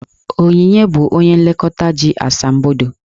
Onyinye bụ onye nlekọta ji asambodo.